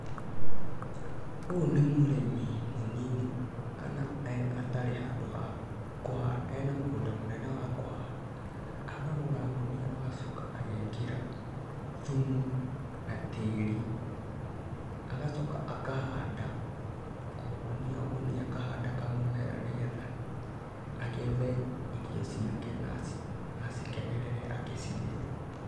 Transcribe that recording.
Ũyũ nĩ mũrĩmi mũnini kana atarĩ handũ ha kũhanda atarĩ na mũgũnda mũnene wa kuhanda, akagũra ngũnia agacoka agekĩra thumu na tĩri. Agacoka akahanda o ngũnia ngũnia akahanda mũmera nĩgetha agethe irio ciake na acikenerere agĩciria.